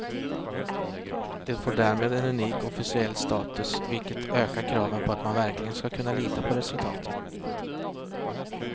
Det får därmed en unik officiell status, vilket ökar kraven på att man verkligen ska kunna lita på resultaten.